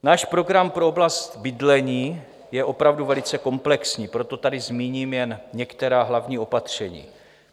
Náš program pro oblast bydlení je opravdu velice komplexní, proto tady zmíním jen některá hlavní opatření.